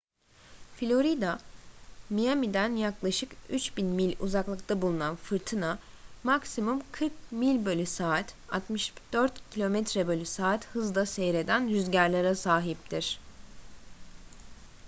florida miami'den yaklaşık 3.000 mil uzaklıkta bulunan fırtına maksimum 40 mil/saat 64 km/saat hızda seyreden rüzgarlara sahiptir